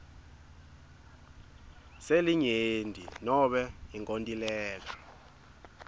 selinyenti nobe inkontileka